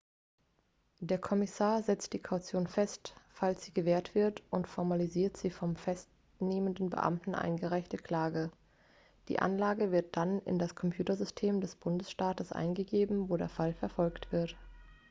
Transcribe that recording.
der kommissar setzt die kaution fest falls sie gewährt wird und formalisiert die vom festnehmenden beamten eingereichte anklage die anklage wird dann in das computersystem des bundesstaates eingegeben wo der fall verfolgt wird